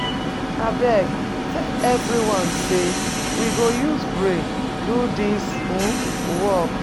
Abeg, tell everyone say we go use brain do dis um work.